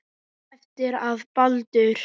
En eftir að Baldur.